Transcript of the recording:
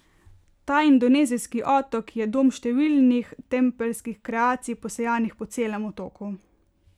Ta indonezijski otok, je dom številnih tempeljskih kreacij, posejanih po celem otoku.